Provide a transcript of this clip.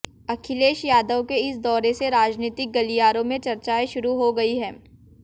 अखिलेश यादव के इस दौरे से राजनीतिक गलियारों में चर्चाएं शुरू हो गयी हैं